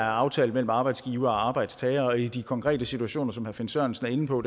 aftalt imellem arbejdsgiver og arbejdstager og i de konkrete situationer som herre finn sørensen er inde på